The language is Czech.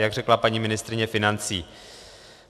Jak řekla paní ministryně financí.